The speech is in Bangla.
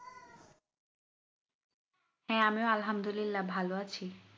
আমি ও আলহামদুলিল্লাহ ভালো আছি